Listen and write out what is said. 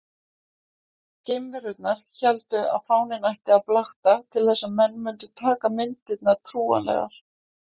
Geimverurnar héldu að fáninn ætti að blakta til þess að menn mundu taka myndirnar trúanlegar.